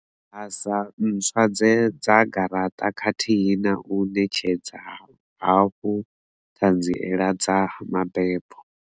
Basa ntswa dza garaṱa khathihi na u ṋetshedza hafhu ṱhanziela dza mabebo.